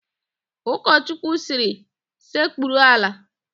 Ụkọchukwu sịrị, "sekpurunu ala"!